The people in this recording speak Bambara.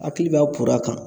Hakili b'a poaro kan